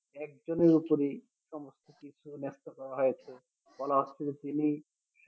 একজনের ওপরেই সমস্ত কিছু ন্যাস্ত করা হয়েছে বলা হচ্ছে যে তিনি